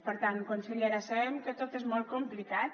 per tant consellera sabem que tot és molt complicat